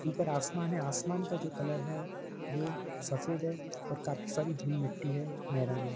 ऊपर आसमान है आसमान का जो कलर है वो सफ़ेद है काफी सारी धूल-मिट्टी है मैदान है ।